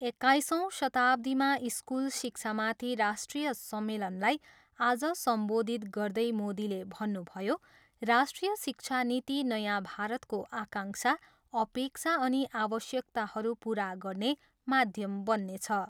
एक्काइसौँ शताब्दीमा स्कुल शिक्षामाथि राष्ट्रिय सम्मेलनलाई आज सम्बोधित गर्दै मोदीले भन्नुभयो, राष्ट्रिय शिक्षा नीति नयाँ भारताको आकाङ्क्षा, अपेक्षा अनि आवश्यकताहरू पुरा गर्ने माध्यम बन्नेछ।